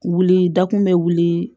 Wuli dakun bɛ wuli